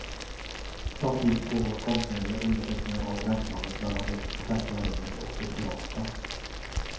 Samtidigt pågår konstnärliga undersökningar av gränslandet mellan det offentliga rummet och det privata.